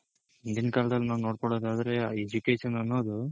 ಹಿಂದಿನ್ ಕಾಲ್ದಲ್ ನಾವ್ ನೋಡ್ಕೊಳೋದಾದ್ರೆ Education ಅನ್ನೋದು